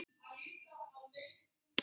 Hann var ekki falur.